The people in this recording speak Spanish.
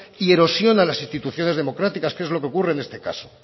y erosiona las instituciones democráticas que es lo que ocurre en este caso